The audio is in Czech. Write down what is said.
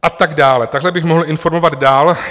A tak dále, takhle bych mohl informovat dál.